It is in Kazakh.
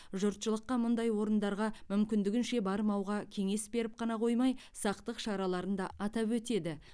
жұртшылыққа мұндай орындарға мүмкіндігінше бармауға кеңес беріп қана қоймай сақтық шараларын да атап өтеді